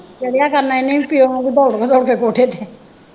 ਚੜ੍ਹਿਆ ਕਰਨਾ ਇਹਨੇ ਵੀ ਪਿਉ ਵਾਂਗੂ ਦੋੜ ਦੋੜ ਕੇ ਕੋਠੇ ਤੇ